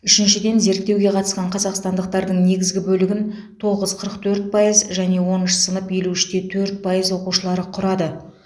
үшіншіден зерттеуге қатысқан қазақстандықтардың негізгі бөлігін тоғыз қырық төрт пайыз және оныншы сынып елу үш те төрт пайыз оқушылары құрады